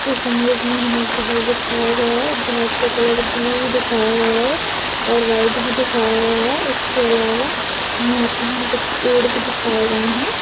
इस इमेज मे हमे जहाज दिखाया गया है जहाज का कलर ब्लू दिखाया गया है और व्हाइट भी दिखाया गया है इसके अलावा यहा पे कूछ पेड़ भी दिखाए गए है।